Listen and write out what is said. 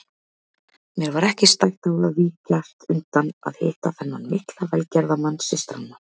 Mér var ekki stætt á að víkjast undan að hitta þennan mikla velgerðamann systranna.